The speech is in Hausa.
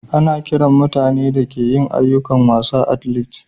Ana kiran mutane da ke yin ayukokin wasa "athletes."